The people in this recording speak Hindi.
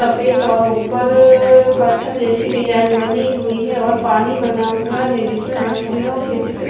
सफेद और ऊपर पत्थर जैसी डिजाइन बनी हुई है और पानी बना हुआ है जिसमें मछलियों के चित्र--